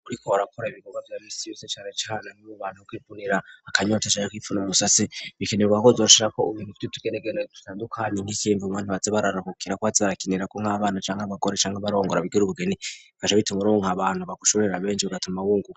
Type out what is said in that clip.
muriko arakora ibigobwa vya misiyose care cyane n'mu bantu kwipunira akanyocesha co kwipfuna ubusasi bikenerwa ho yoshira ko ubbintu vite tugeregani tutandukanye n'icemva mbantibatse bararahukira ko batarakinira ko nk'abana cangwa bakore changwa barongora bigire ubugeni fasha bitemurmo nka bantu bagushuririra benshi bugata mabungua